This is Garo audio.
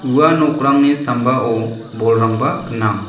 ua nokrangni sambao bolrangba gnang.